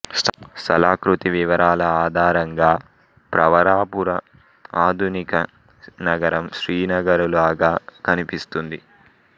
స్థలాకృతి వివరాల ఆధారంగా ప్రవరాపుర ఆధునిక నగరం శ్రీనగరులాగా కనిపిస్తుంది